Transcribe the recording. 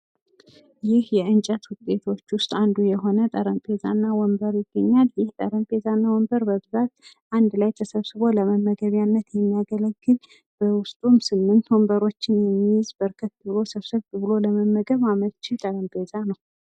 ይህ የእንጨት ዉጤቶች ዉስጥ አንዱ የሆነ ጠረጴዛ እና ወንበር ይገኛል። ይህ ጠረጴዛና ወንበር በብዛት አንድ ላይ ተሰብስቦ ለመመገቢያነት የሚያገለግል በዉስጡም 8 ወንበሮችን የያዘ በርከት ብሎ ሰብሰብ ብሎ ለመመገብ አመቺ ጠረጴዛ ነዉ።